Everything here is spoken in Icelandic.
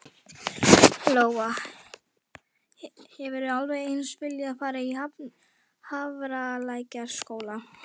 Lóa: Hefðirðu alveg eins viljað fara í Hafralækjarskóla?